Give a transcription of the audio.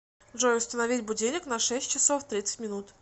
джой установить будильник на шесть часов тридцать минут